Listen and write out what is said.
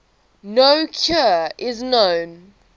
no cure is known